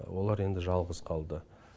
олар енді жалғыз қалды